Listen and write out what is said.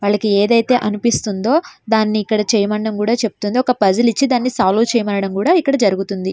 వీళ్ళకి ఏదైతే అనిపిస్తుందో అది చేయడం జరుగుతుంది. అలాగే ఒక పజిల్ ఇచ్చి సాల్వ్ చేయడం మండడం కూడా జరుగుతుంది.